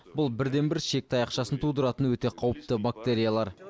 бұл бірден бір ішек таяқшысын тудыратын өте қауіпті бактериялар